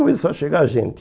Começou a chegar gente.